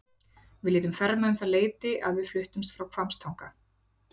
Við létum ferma um það leyti að við fluttumst frá Hvammstanga.